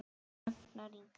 Ragnar Ingi.